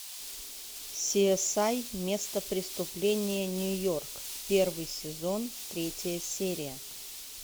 си эс ай место преступления нью йорк первый сезон третья серия